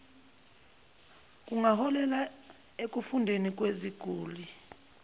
kungaholela ekufeni kweziguli